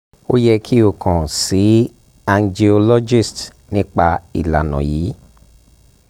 o yẹ ki o kan si angiologist nipa ilana yii